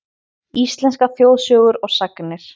Íslenskar þjóðsögur og sagnir.